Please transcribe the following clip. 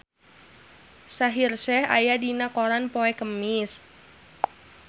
Shaheer Sheikh aya dina koran poe Kemis